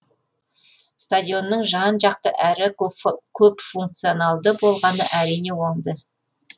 стадионның жан жақты әрі көпфункционалды болғаны әрине оңды